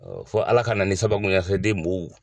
fɔ ALA ka na ni sababu